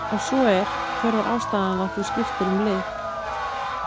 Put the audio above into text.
ef svo er hver var ástæðan að þú skiptir um lið?